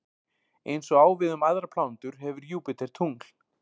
Eins og á við um aðrar plánetur hefur Júpíter tungl.